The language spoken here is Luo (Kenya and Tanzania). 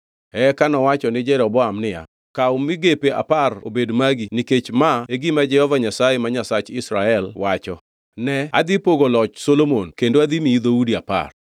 Eka nowacho ni Jeroboam niya, “Kaw migepe apar obed magi nikech ma e gima Jehova Nyasaye Nyasach Israel wacho: ‘Ne adhi pogo loch Solomon kendo adhi miyi dhoudi apar.